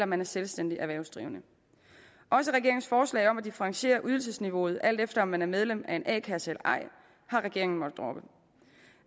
man er selvstændigt erhvervsdrivende også regeringens forslag om at differentiere ydelsesniveauet alt efter om man er medlem af en a kasse eller ej har regeringen måttet droppe